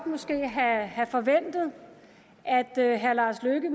have forventet at herre lars løkke